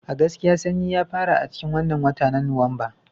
A gaskiya Sannyi ya fara a cikin wannan watan na Nuwamba